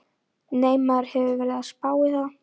Nei, maður hefur verið að spá í það.